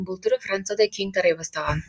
бұл түрі францияда кең тарай бастаған